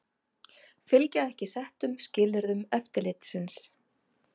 Fylgja ekki settum skilyrðum eftirlitsins